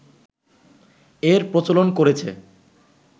এর প্রচলন করেছে